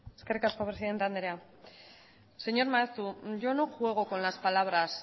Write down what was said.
eskerrik asko presidente andrea señor maeztu yo no juego con las palabras